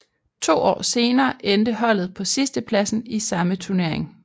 To år senere endte holdet på sidstepladsen i samme turnering